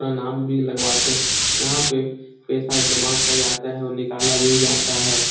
अपना नाम भी लगवाते हैं यहाँ पे पैसा जमा किया जाता है और निकला भी जाता है।